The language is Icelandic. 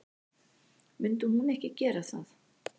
Myndi hún ekki gera það?